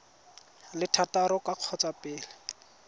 le thataro ka kgotsa pele